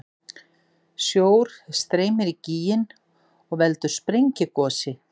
Sjór streymir í gíginn og veldur sprengigosi.